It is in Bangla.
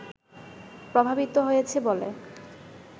প্রভাবিত হয়েছে বলে